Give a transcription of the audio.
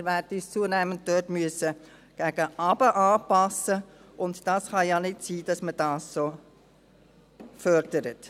Wir werden uns dort zunehmend gegen unten anpassen müssen, und es kann ja nicht sein, dass man dies so fördert.